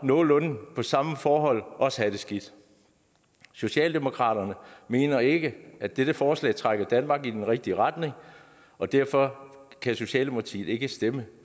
nogenlunde samme forhold også have det skidt socialdemokratiet mener ikke at dette forslag trækker danmark i den rigtige retning og derfor kan socialdemokratiet ikke stemme